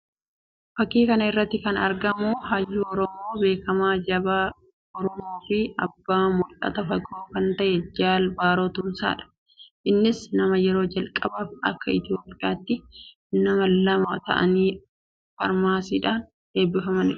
Fakkii kana irratti kan argamu hayyuu Oromoo beekamaa, jabaa Oromoo fi abbaa mul'ata fagoo kan ta'e Jaal Baaroo Tumsaa dha. Innis nama yeroo jalqabaaf akka Itoophiyaatti nama lama ta'anii faarmaasiidhaan eebbifamee dha.